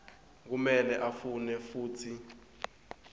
kumele afune futsi